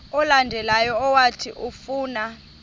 olandelayo owathi ufuna